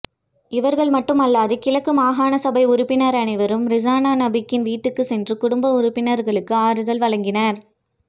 இவர்கள் மட்டுமல்லாது கிழக்கு மாகாண சபை உறுப்பினர் அன்வரும் றிஸானா நபீக்கின் வீட்டுக்கு சென்று குடும்ப உறுப்பினர்களுக்கு ஆறுதல் வழங்கினார்